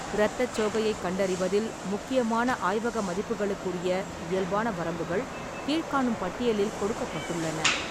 இரத்தச் சோகையைக் கண்டறிவதில் முக்கியமான ஆய்வக மதிப்புகளுக்குரிய இயல்பான வரம்புகள் கீழ்க்காணும் பட்டியலில் கொடுக்கப்பட்டுள்ளன.